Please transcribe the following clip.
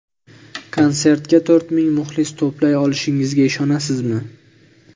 Konsertga to‘rt ming muxlis to‘play olishingizga ishonasizmi?